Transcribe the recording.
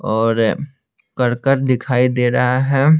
और करकेट दिखाई दे रहा है।